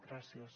gràcies